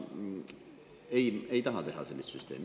Ei, ei taha teha sellist süsteemi.